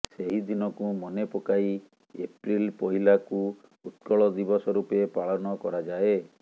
ସେହି ଦିନକୁ ମନେ ପକାଇ ଏପ୍ରିଲ ପହିଲାକୁ ଉତ୍କଳ ଦିବସ ରୂପେ ପାଳନ କରାଯାଏ